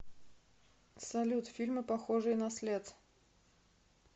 салют фильмы похожие на след